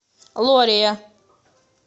лория